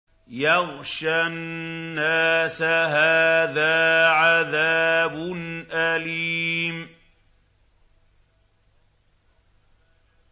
يَغْشَى النَّاسَ ۖ هَٰذَا عَذَابٌ أَلِيمٌ